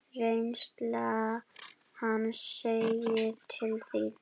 Reynsla hans segir til sín.